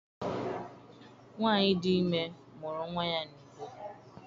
Nwaanyi dị ime mụrụ nwa ya n'udo.